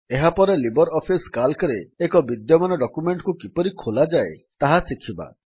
ଏହାପରେ LibreOffice Calcରେ ଏକ ବିଦ୍ୟମାନ ଡକ୍ୟୁମେଣ୍ଟ୍ କୁ କିପରି ଖୋଲାଯାଏ ତାହା ଶିଖିବା